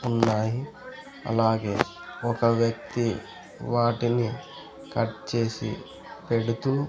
ఉన్నాయి అలాగే ఒక వ్యక్తి వాటిని కట్ చేసి పెడుతూ --